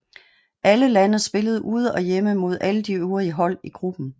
Alle lande spillede ude og hjemme mod alle de øvrige hold i gruppen